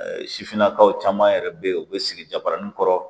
Sifinnakaw caman yɛrɛ be yen u bɛ sigi jabaranin kɔrɔ